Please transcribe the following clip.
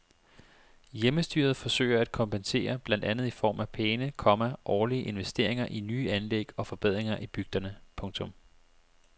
Hjemmestyret forsøger at kompensere blandt andet i form af pæne, komma årlige investeringer i nye anlæg og forbedringer i bygderne. punktum